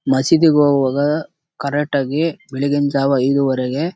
ಮಸೀದಿಗೆ ಹೋಗುವಾಗ ಕರೆಕ್ಟ್ ಆಗಿ ಬೆಳ್ಗಿನ್ ಜಾವಾ ಐದುವರೆಗೆ.